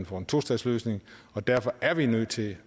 for en tostatsløsning og derfor er vi nødt til